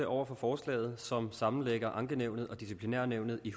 over for forslaget som sammenlægger ankenævnet og disciplinærnævnet i